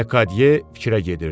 Lekadiye fikrə gedirdi.